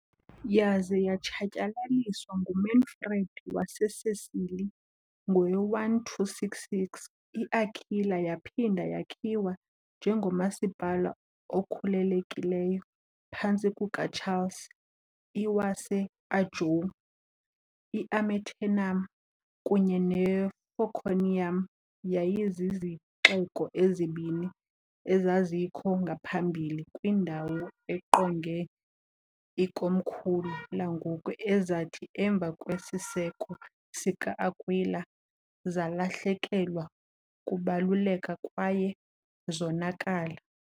Yaze yatshatyalaliswa nguManfred waseSicily, ngowe-1266 iAquila yaphinda yakhiwa njengomasipala okhululekileyo phantsi kukaCharles I waseAnjou. "I-Amiternum" kunye "ne-Forconium" yayizizixeko ezibini ezazikho ngaphambili kwindawo engqonge ikomkhulu langoku ezathi, emva kwesiseko sika-Akwila, zalahlekelwa kubaluleka kwaye zonakala.